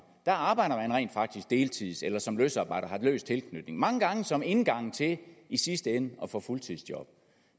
arbejder man rent faktisk deltids eller som løsarbejder har løs tilknytning mange gange som indgang til i sidste ende at få fuldtidsjob